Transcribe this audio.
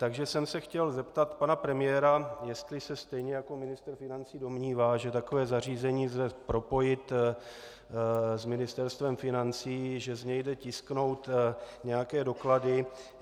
Takže jsem se chtěl zeptat pana premiéra, jestli se stejně jako ministr financí domnívá, že takové zařízení lze propojit s Ministerstvem financí, že z něj jde tisknout nějaké doklady.